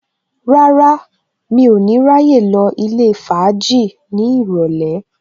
Rárá, mi ò ní ráyè lọ ilé fàájì ní ìrọ̀lẹ́